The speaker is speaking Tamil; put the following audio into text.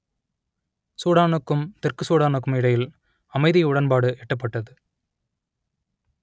சூடானுக்கும் தெற்கு சூடானுக்கும் இடையில் அமைதி உடன்பாடு எட்டப்பட்டது